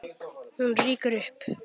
Hún rýkur upp.